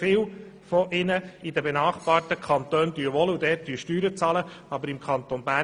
Viele von ihnen wohnen nämlich in den benachbarten Kantonen und bezahlen dort Steuern.